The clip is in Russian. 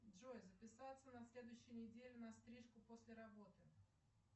джой записаться на следующей неделе на стрижку после работы